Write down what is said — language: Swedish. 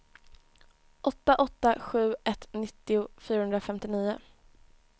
åtta åtta sju ett nittio fyrahundrafemtionio